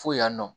Fo yan nɔ